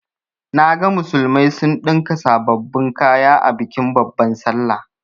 Naga musulmai sun ɗinka sababbin kaya a bikin babban sallah.